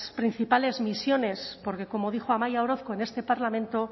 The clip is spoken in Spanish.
principales misiones porque como dijo amaia orozko en este parlamento